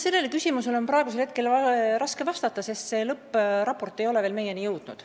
Sellele küsimusele on praegu raske vastata, sest lõppraport ei ole veel meieni jõudnud.